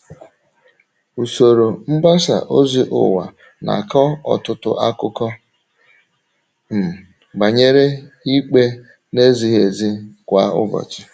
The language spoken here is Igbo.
Usoro mgbasa ozi ụwa na - akọ ọtụtụ akụkọ um banyere ikpe na - ezighị ezi kwa ụbọchị.